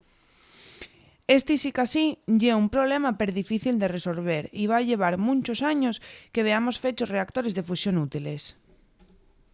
esti sicasí ye un problema perdifícil de resolver y va llevar munchos años que veamos fechos reactores de fusión útiles